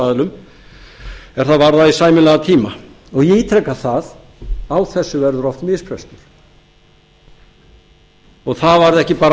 aðilum að það varðaði sæmilegan tíma ég ítreka það að á þessu verða oft mistök það var ekki bara